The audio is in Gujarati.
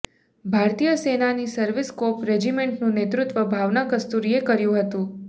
ભારતીય સેનાની સર્વીસ કોપ રેજીમેન્ટનું નેતૃત્વ ભાવના કસ્તુરીએ કર્યુ હતું